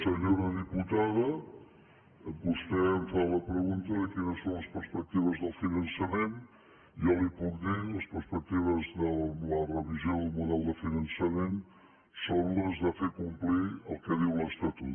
senyora diputada vostè em fa la pregunta de quines són les perspectives del finançament jo li puc dir les pers·pectives de la revisió del model de finançament són les de fer complir el que diu l’estatut